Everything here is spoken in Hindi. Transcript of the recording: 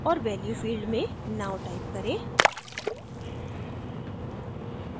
और value field में now type करें